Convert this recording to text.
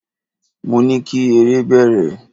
Mo ní kí eré bẹ̀rẹ̀!